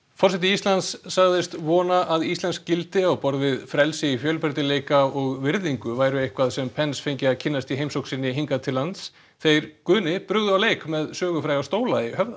forseti Íslands sagðist vona að íslensk gildi á borð við frelsi fjölbreytileika og virðingu væru eitthvað sem fengi að kynnast í heimsókn sinni hingað til lands þeir Guðni brugðu á leik með sögufræga stóla í Höfða